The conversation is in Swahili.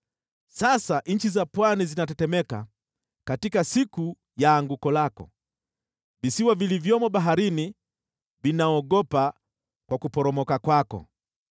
Sasa nchi za pwani zinatetemeka katika siku ya anguko lako; visiwa vilivyomo baharini vinaogopa kwa kuporomoka kwako.’